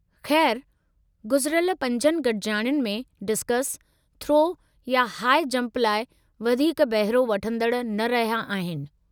ख़ैरु, गुज़िरियल पंजनि गॾिजाणियुनि में डिस्कस थ्रो या हाइ जंप लाइ वधीक बहिरो वठंदड़ न रहिया आहिनि।